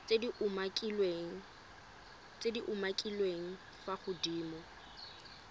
tse di umakiliweng fa godimo